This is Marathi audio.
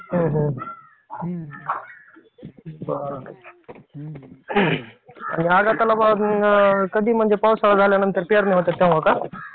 हम्म हम्म. बरं. आणि कधी म्हणजे पावसाळा झाल्यानंतर पेरण्या होतात तेव्हा का?